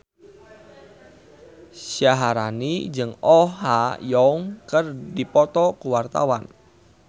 Syaharani jeung Oh Ha Young keur dipoto ku wartawan